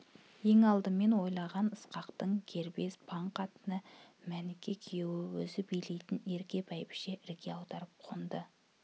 ең алдымен ойлаған ысқақтың кербез паң қатыны мәніке күйеуін өзі билейтін ерке бәйбіше ірге аударып қонды